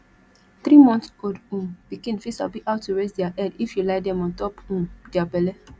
three months old um pikin fit sabi how to raise their head if you lie them on top um their belle